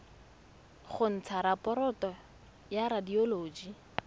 go ntsha raporoto ya radioloji